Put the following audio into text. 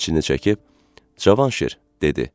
İçini çəkib "Cavanşir," dedi.